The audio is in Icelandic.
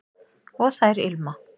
og þær ilma